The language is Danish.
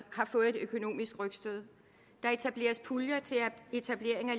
har fået et økonomisk rygstød der etableres puljer til etablering af